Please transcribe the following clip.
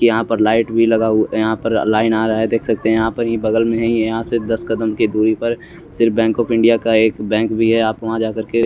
यहाँ लाइट लगा भी हुआ है यहाँ पर लाइन आ रहा है देख सकते है आप बगल में हे यहाँ से दस कदम की दुरी पर सिर्फ बैंक ऑफ़ इंडिया का एक बैंक भी है आप वहा जा कर के--